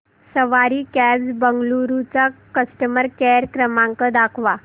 सवारी cabs Bengaluru चा customer care क्रमांक दाखवा